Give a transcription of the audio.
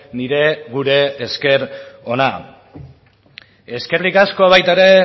nire gure esker ona eskerrik asko baita ere